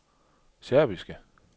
serbiske